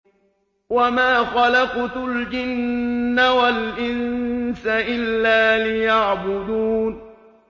وَمَا خَلَقْتُ الْجِنَّ وَالْإِنسَ إِلَّا لِيَعْبُدُونِ